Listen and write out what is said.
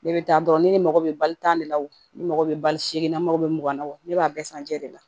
Ne bɛ taa dɔrɔn ne mago bɛ bali tan de la o ne mago bɛ bali se la n mago bɛ mugan na o ne b'a bɛɛ san jɛ de la